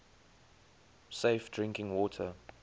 safe drinking water